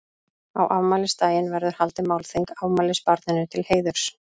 Á afmælisdaginn verður haldið málþing afmælisbarninu til heiðurs.